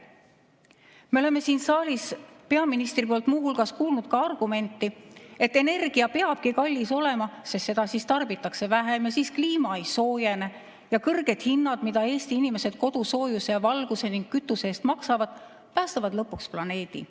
Me oleme siin saalis peaministrilt muu hulgas kuulnud argumenti, et energia peabki kallis olema, sest siis seda tarbitakse vähem ja siis kliima ei soojene, ja kõrged hinnad, mida Eesti inimesed kodusoojuse ja valguse ning kütuse eest maksavad, päästavad lõpuks planeedi.